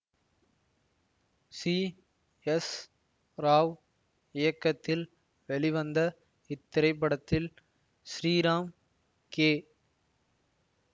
C S Rao இயக்கத்தில் வெளிவந்த இத்திரைப்படத்தில் ஸ்ரீராம் கே